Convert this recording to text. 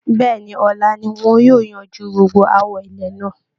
Bẹ́ẹ̀ ni, ọ̀la ni wọn yóò yanju gbogbo aáwọ ilẹ̀ náà